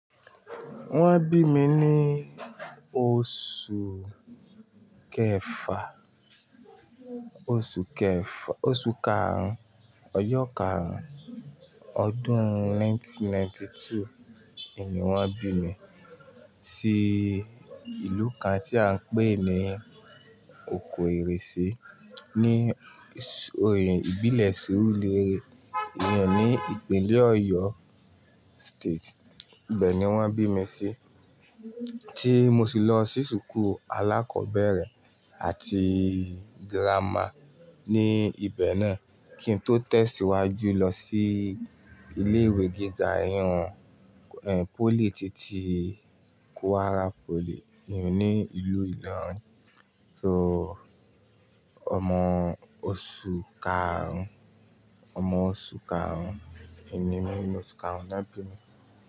Wọ́n bí mi ní oṣù kẹfà, oṣù kẹfà, oṣù karùn-ún, ọjọ́ karùn-ún, ọdún ẹgbẹ̀rún kan ó lé ọgọ́rùn-ún mẹ́sàn-án ó lé éjìlélọ́gọ́rùn-ún ni wọ́n bí mi sí ìlú kan tí à ń pè ní oko ere ṣe ní oyè ìbílẹ̀ Surulere, ní ìpínlẹ̀ Oyo State. Ibẹ̀ ni wọ́n bí mi sí, tí mo sì lọ sí ṣùkú alákọ̀ọ́bẹ̀rẹ̀ àti girama ní ibẹ̀ náà, kí n tó tẹ̀síwájú lọ sí ilé ìwé gíga ẹ̀yún pólìtẹ́ẹ́kí ti Kwara pólì ní ìlú Ìlọrin. So, ọmọ oṣù karùn-ún, ọmọ oṣù karùn-ún, ìní mi ínu oṣù karùn-ún ni wọ́n bí mi.